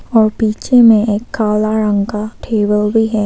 और पीछे में एक काला रंग का टेबल भी है।